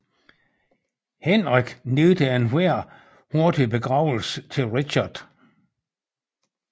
Henrik nægtede enhver hurtig begravelse til Richard